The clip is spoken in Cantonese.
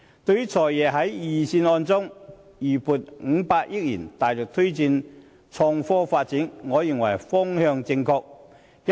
對於"財爺"在預算案中預留500億元，大力推動創科發展，我認為方向正確。